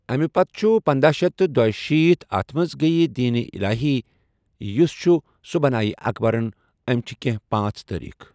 أمۍ پَتہٕ چھُ پَنداہ شیٚتھ تہٕ دُشيٖتھ اَتھ منٛز گیہِ دیٖنہِ الٰہی یُس چھُ سُہ بَنایہِ اَکبرن أمۍ چھِ کیٚنٛہہ پانٛژھ تٲریٖخ۔